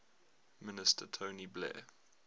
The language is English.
minister tony blair